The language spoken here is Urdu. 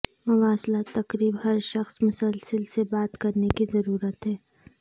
مواصلات تقریب ہر شخص مسلسل سے بات کرنے کی ضرورت ہے